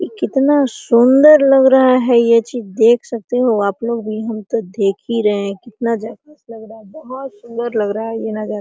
ई कितना सुन्दर लग रहा है ये चीज देख सकते हो आपलोग भी हम तो देख ही रहे है कितना अच्छा जबरदस्त लग रहा है बहुत सुन्दर लग रहा ये नज़ारा।